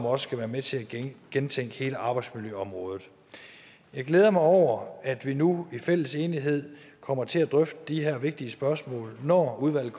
også være med til at gentænke hele arbejdsmiljøområdet jeg glæder mig over at vi nu i fælles enighed kommer til at drøfte de her vigtige spørgsmål når udvalget